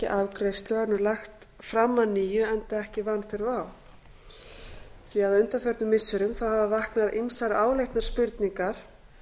afgreiðslu og er nú lagt fram að nýju enda ekki vanþörf á á undanförnum missirum hafa vaknað ýmsar áleitnar spurningar